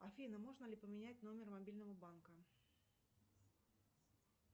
афина можно ли поменять номер мобильного банка